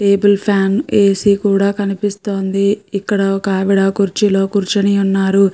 Table fan AC. కూడా కనిపిస్తోంది. ఇక్కడ ఒక ఆవిడా కుర్చీలో కూర్చుని ఉన్నారు.